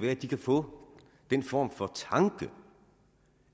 være at de kan få den form for tanke